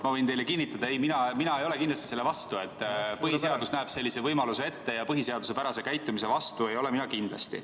Ma võin teile kinnitada: ei, mina ei ole kindlasti selle vastu, põhiseadus näeb sellise võimaluse ette ja põhiseaduspärase käitumise vastu ei ole mina kindlasti.